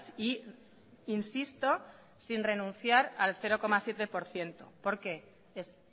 y insisto sin renunciar al cero coma siete por ciento porque es